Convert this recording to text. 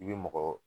I bɛ mɔgɔ